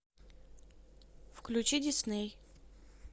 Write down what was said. включи дисней